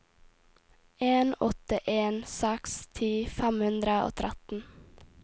en åtte en seks ti fem hundre og tretten